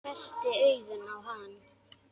Hvessti augun á hann.